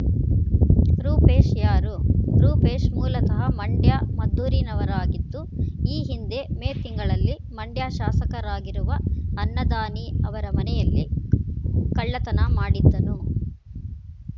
ರೂಪೇಶ್ ಯಾರು ರೂಪೇಶ್ ಮೂಲತಃ ಮಂಡ್ಯಮದ್ದೂರಿನವಾಗಿದ್ದು ಈ ಹಿಂದೆ ಮೇ ತಿಂಗಳಲ್ಲಿ ಮಂಡ್ಯ ಶಾಸಕರಾಗಿರುವ ಅನ್ನದಾನಿ ಅವರ ಮನೆಯಲ್ಲಿ ಕಳ್ಳತನ ಮಾಡಿದ್ದನು